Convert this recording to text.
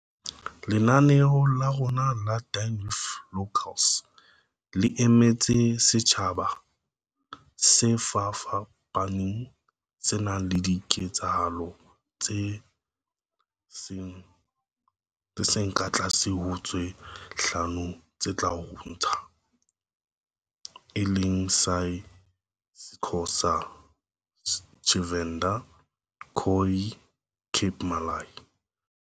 "Lenaneo la rona la Dine with Locals le emetse setjha ba se fapafapaneng, se nang le diketsahalo tse seng ka tlase ho tse hlano tse tla bo ntshwang, e leng sa isiXhosa, Tshivenḓa, Khoi, Cape Malay"